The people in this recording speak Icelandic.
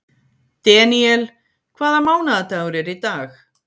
Deníel, hvaða mánaðardagur er í dag?